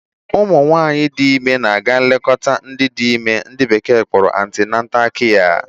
Ụmụ nwaanyị di ime na-aga nlekọta ndị dị ime ndị bekee kpọrọ antenatal kia.